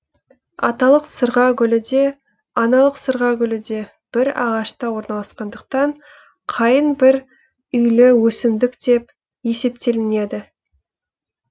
аталық сырға гүлі де аналық сырға гүлі де бір ағашта орналасқандықтан қайың бір үйлі өсімдік деп есептелінеді